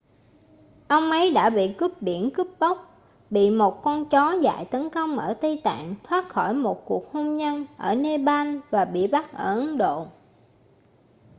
ông ấy đã bị cướp biển cướp bóc bị một con chó dại tấn công ở tây tạng thoát khỏi một cuộc hôn nhân ở nepal và bị bắt ở ấn độ